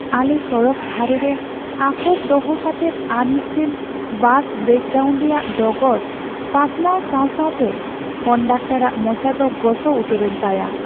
ᱟᱞᱮ ᱥᱚᱲᱚᱠ ᱫᱷᱟᱨᱮ ᱨᱮ ᱟᱠᱚᱴ ᱫᱚᱦᱚ ᱠᱟᱛᱮᱫ ᱟᱨ ᱢᱤᱫᱴᱟᱝ ᱵᱟᱥ ᱵᱨᱮᱠᱰᱟᱣᱩᱱ ᱨᱮᱭᱟᱜ ᱰᱚᱜᱚᱨ ᱯᱟᱥᱱᱟᱣ ᱥᱟᱶ ᱥᱟᱶᱛᱮ ᱠᱚᱱᱰᱟᱠᱴᱚᱨᱟᱜ ᱢᱚᱪᱟ ᱫᱚ ᱜᱚᱥᱚ ᱩᱛᱟᱹᱨᱮᱱ ᱛᱟᱭᱟ ᱾